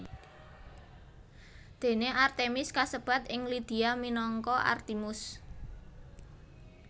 Dene Artemis kasebat ing Lydia minangka Artimus